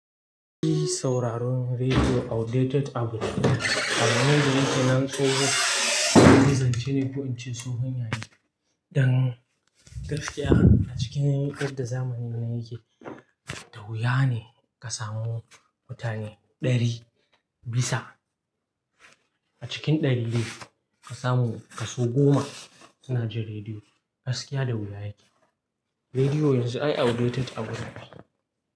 Shi sauraron rediyo outdated abu ne. Amma yanzu idan ka nanso ka ga, zance ne ko in ce sosai. Hanyoyi, dan gaskiya a cikin yar da zamanin nan yake, da wuya ne ka samu mutane ɗari bisa a cikin ɗari dai ka samu kaso goma suna jin rediyo. Gaskiya da wuya yake. Rediyo yanzu ai outdated abu ne.